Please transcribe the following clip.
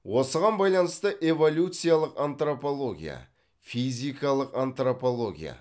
осыған байланысты эволюциялық антропология физикалық антропология